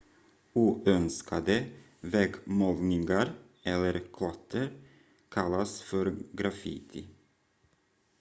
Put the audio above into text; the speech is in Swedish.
oönskade väggmålningar eller klotter kallas för graffiti